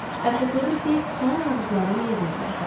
Əsas odur ki, sən ulduzların yerini biləsən.